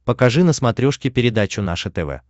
покажи на смотрешке передачу наше тв